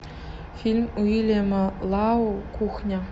фильм уильяма лау кухня